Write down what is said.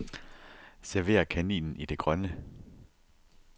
Server kaninen i det grønne.